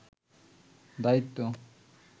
দায়িত্ব